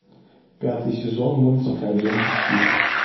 пятый сезон мультика агенты щит